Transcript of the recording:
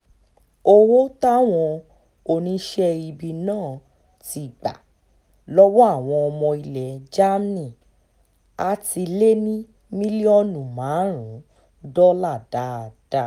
owó táwọn oníṣẹ́ ibi náà ti gbà lọ́wọ́ àwọn ọmọ ilẹ̀ germany àá ti lé ní mílíọ̀nù márùn-ún dọ́là dáadáa